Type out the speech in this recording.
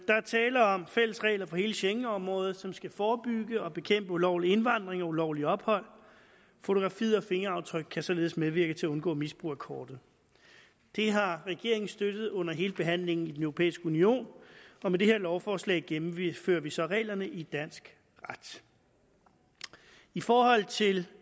tale om fælles regler for hele schengenområdet som skal forebygge og bekæmpe ulovlig indvandring og ulovligt ophold fotografi og fingeraftryk kan således medvirke til at undgå misbrug af kortet det har regeringen støttet under hele behandlingen i den europæiske union og med det her lovforslag gennemfører vi så reglerne i dansk ret i forhold til